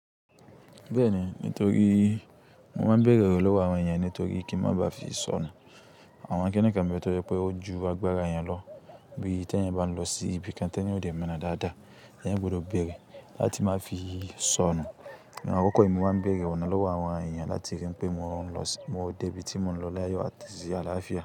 Bẹ́ẹ̀ni, nítorí mo máa ń bèrè ọ̀rọ̀ lọ́wọ́ àwọn èèyàn nítorí kí ń má ba fi sọnù. Àwọn kinikàn ń be toje pé ó ju agbára eyan lọ. Bí i ti eyan bá ń lọ sí ibi kan tí eyan ò dè mọ̀ ona dáadáa, eyan gbọdọ̀ bèrè láti má fi sọnù. Ní àwọn àkókò yìí mo máa ń bèrè ọ̀nà lọ́wọ́ àwọn èèyàn láti rí pé mo ń lọ sí Mo débí tí mo ń lọ láyo àti àlàáfíà.